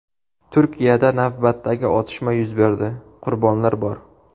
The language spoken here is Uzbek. Turkiyada navbatdagi otishma yuz berdi, qurbonlar bor.